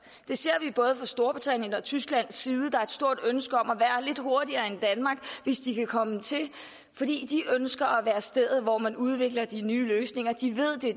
det ser vi fra både storbritanniens og tysklands side der er et stort ønske om at være lidt hurtigere end danmark hvis de kan komme til det fordi de ønsker at være stedet hvor man udvikler de nye løsninger de ved at